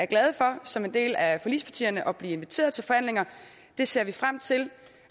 glade for som en del af forligspartierne at blive inviteret til forhandlinger det ser vi frem til